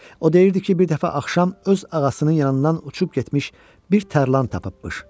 O deyirdi ki, bir dəfə axşam öz ağasının yanından uçub getmiş bir tərlan tapıbmış.